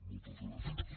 moltes gràcies